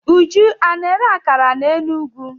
Uju a na-ere akara n'Enugwu?